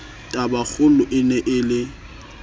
tabakgolo e ne e le